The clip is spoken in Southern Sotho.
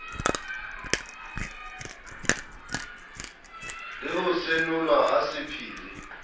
le ho senolwa ha sephiri